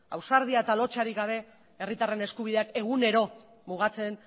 ausardia eta lotsarik gabe herritarren eskubideak egunero mugatzen